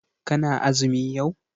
Kana azumi yau?